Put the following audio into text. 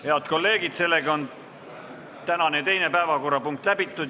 Head kolleegid, sellega on tänane teine päevakorrapunkt läbitud.